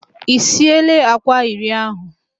I sieela àkwá iri ahụ